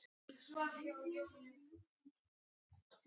Konungur nokkur og drottning.